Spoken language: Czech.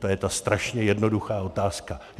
To je ta strašně jednoduchá otázka.